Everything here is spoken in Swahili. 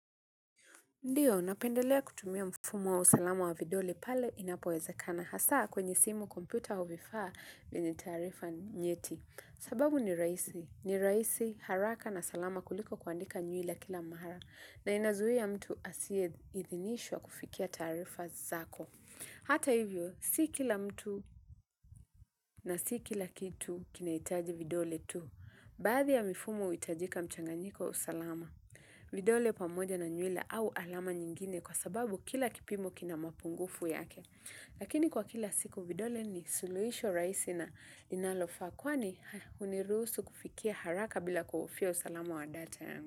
Ndiyo, napendelea kutumia mfumo wa usalama wa vidole pale inapowezakana. Hasa kwenye simu kompyuta au vifaa vyenye taarifa nyeti. Sababu ni rahisi. Ni rahisi haraka na salama kuliko kuandika nyuila kila mara. Na inazuia mtu asiyeidhinishwa kufikia taarifa zako. Hata hivyo, si kila mtu na si kila kitu kinahitaji vidole tu. Baadhi ya mifumo uhitajika mchanganyiko wa usalama. Vidole pamoja na nywele au alama nyingine kwa sababu kila kipimo kina mapungufu yake lakini kwa kila siku vidole ni suluhisho rahisi na linalofaa kwani uniruhusu kufikia haraka bila kuhofia usalama wa data yangu.